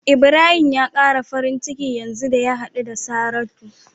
Ibrahim ya kara farin ciki yanzu da ya hadu da Saratu.